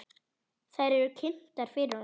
Þær eru kynntar fyrir honum.